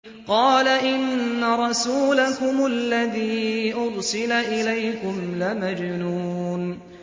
قَالَ إِنَّ رَسُولَكُمُ الَّذِي أُرْسِلَ إِلَيْكُمْ لَمَجْنُونٌ